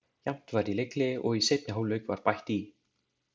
Jafnt var í leikhléi og í seinni hálfleik var bætt í.